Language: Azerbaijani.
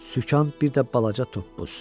Sükan, bir də balaca toppuz.